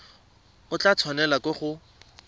o tla tshwanelwa ke go